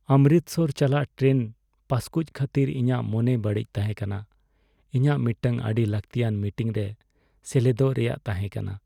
ᱚᱢᱨᱤᱛᱥᱚᱨ ᱪᱟᱞᱟᱜ ᱴᱨᱮᱱ ᱯᱟᱹᱥᱠᱩᱡ ᱠᱷᱟᱹᱛᱤᱨ ᱤᱧᱟᱜ ᱢᱚᱱᱮ ᱵᱟᱹᱲᱤᱡ ᱛᱟᱸᱦᱮ ᱠᱟᱱᱟ, ᱤᱧᱟᱜ ᱢᱤᱫᱴᱟᱝ ᱟᱹᱰᱤ ᱞᱟᱹᱠᱛᱤᱭᱟᱱ ᱢᱤᱴᱤᱝ ᱨᱮ ᱥᱮᱞᱮᱫᱚᱜ ᱨᱮᱭᱟᱜ ᱛᱟᱦᱮᱸ ᱠᱟᱱᱟ ᱾